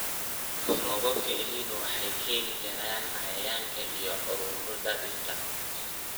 Roobabka El Niño waxay keeni karaan cayayaanka iyo cudurrada dhirta.